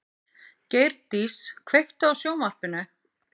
Geirdís, kveiktu á sjónvarpinu.